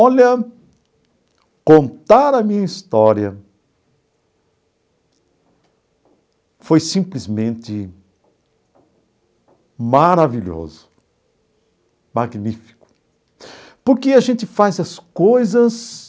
Olha, contar a minha história foi simplesmente maravilhoso, magnífico, porque a gente faz as coisas